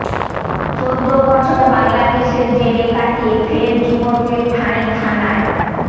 চোদ্দো বছর বাংলাদেশের জেলে কাটিয়ে ফের যুবকের ঠাঁই থানায়